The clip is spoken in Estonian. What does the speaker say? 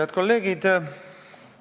Head kolleegid!